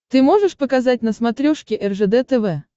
ты можешь показать на смотрешке ржд тв